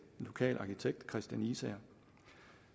lokal arkitekt kristian isager